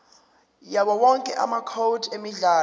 yawowonke amacode emidlalo